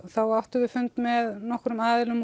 þá áttum við fund með nokkrum